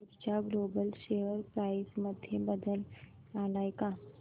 ऊर्जा global share price मध्ये बदल आलाय का